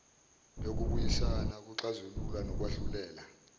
yokubuyisana ukuxazulula nokwahlulela